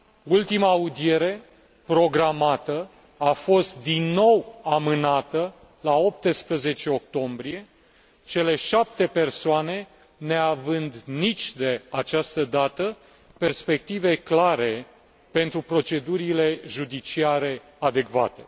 Ultima audiere programată a fost din nou amânată la 18 octombrie, cele șapte persoane neavând nici de această dată perspective clare pentru procedurile judiciare adecvate.